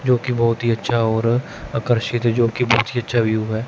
जोकि बहुत ही अच्छा और आकर्षित है जोकि बहुत हि अच्छा व्यू है।